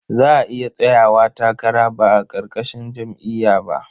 Za a iya tsayawa takara ba a ƙarƙashin jam'iyya ba.